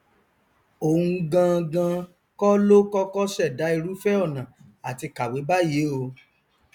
òun gangan kọ ló kọkọ ṣẹdá irúfẹ ọnà àti kàwé báyìí o